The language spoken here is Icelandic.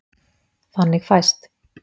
Þannig fæst: